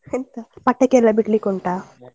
ಎಂತ ಪಟಾಕಿಯೆಲ್ಲ ಬಿಡ್ಲಿಕ್ಕೆ ಉಂಟಾ?